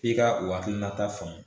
F'i ka u hakilinata faamu